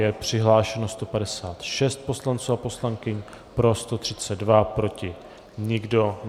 Je přihlášeno 156 poslanců a poslankyň, pro 132, proti nikdo.